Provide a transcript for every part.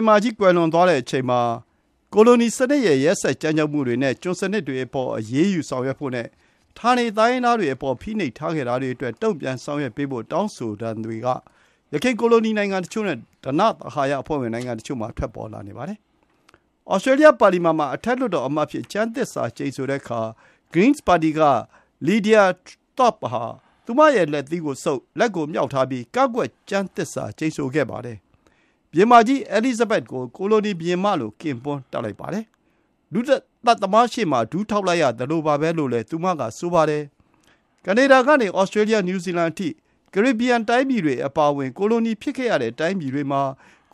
င်မကြီး ကွယ်လွန်သွားတဲ့အချိန်မှာ ကိုလိုနီစနစ်ရဲ့ ရက်စက်ကြမ်းကြုတ်မှုတွေနဲ့ ကျွန်စနစ်တွေအပေါ် အရေးယူဆောင်ရွက်ဖို့နဲ့ ဌာနေ တိုင်းရင်းသားတွေ အပေါ် ဖိနှိပ်ထားခဲ့တာတွေအတွက် တုံ့ပြန်ဆောင်ရွက်ပေးဖို့ တောင်းဆိုသံတွေ က ယခင် ကိုလိုနီ နိုင်ငံတချို့နဲ့ ဓနသဟာယအဖွဲ့ဝင် နိုင်ငံတချို့မှာ ထွက်ပေါ်လာနေပါတယ်။ Australia ပါလီမန်မှာ အထက်လွှတ်တော်အမတ်အဖြစ် ကျမ်းသစ္စာကျိန်ဆိုတဲ့အခါ Greens ပါတီ က Lidia Thorpe ဟာ သူမရဲ့ လက်သီးကိုဆုပ်၊ လက်ကိုမြှောက်ထားပြီး ကန့်ကွက် ကျမ်းသစ္စာကျိန်ဆိုခဲ့ပါတယ်။ ဘုရင်မကြီး Elizabeth II ကို ကိုလိုနီဘုရင်မလို့ ကင်ပွန်းတပ်လိုက်ပါတယ်။ လူသတ်သမားရှေ့မှာ ဒူးထောက်လိုက်ရသလိုပါပဲလို့ သူမက ဆိုပါတယ်။ Canada ကနေ Australia New Zeland အထိ ကာရေဘီယန် တိုင်းပြည်တွေ အပါအဝင် ကိုလိုနီဖြစ်ခဲ့ရတဲ့ တိုင်းပြည်တွေမှာ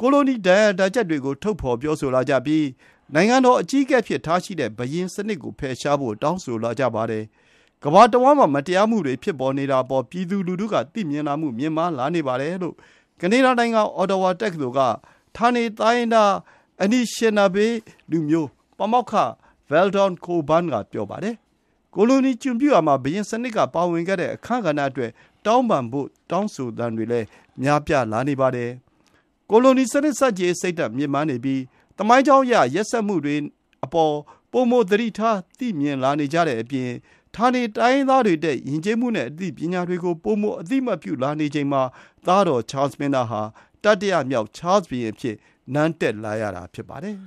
ကိုလိုနီ ဒဏ်ရာဒဏ်ချက်တွေကို ထုတ်ဖော်ပြောဆိုလာကြပြီး နိုင်ငံတော်အကြီးအကဲအဖြစ်ထားရှိရတဲ့ ဘုရင်စနစ် ကို ဖယ်ရှားဖို့ တောင်းဆိုလာကြပါတယ်။ ကမ္ဘာတဝှမ်းမှာ မတရားမှုတွေ ဖြစ်နေတာအပေါ် ပြည်သူလူထုက သိမြင်လာမှု မြင့်မားလာနေပါတယ်လို့ ကနေဒါ နိုင်ငံ Ottawa တက္ကသိုလ် က ဌာနေတိုင်းရင်းသား Anishinaabe လူမျိုး ပါမောက္ခ Veldon Coburn က ပြောပါတယ်။ ကိုလိုနီ ကျွန်ပြုရာမှာ ဘုရင်စနစ်က ပါဝင်ခဲ့တဲ့အခန်းကဏ္ဍအတွက် တောင်းပန်ဖို့ တောင်းဆိုသံတွေလည်း များပြားလာနေပါတယ်။ ကိုလိုနီစနစ် ဆန့်ကျင်ရေး စိတ်ဓာတ် မြင့်မားနေပြီး သမိုင်းကြောင်းအရ ရက်စက်မှုတွေအပေါ် ပိုမို သတိထားသိမြင်လာနေကြတဲ့အပြင် ဌာနေတိုင်းရင်းသားတွေ ရဲ့ ယဉ်ကျေးမှုနဲ့ အသိပညာတွေကို ပိုမို အသိအမှတ်ပြုလာနေချိန်မှာ သားတော် ချားလ် မင်းသားဟာ တတိယမြောက် ချားလ်ဘုရင် အဖြစ် နန်းတက်လာရတာ ဖြစ်ပါတယ်။